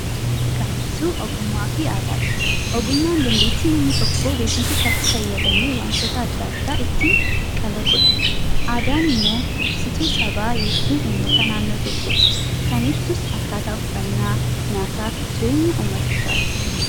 Kan ibsu ogummaafi aadaadha. Ogummaan dandeettii namni tokko beekumsa isaatti fayyadamee wantoota adda addaa itti kalaqudha. Aadaan ammoo ibsituu sabaa yookaan uummata naannoo tokkooti. Kan ibsus akkaataa uffannaa, nyaataaf jireenya uummatichaati.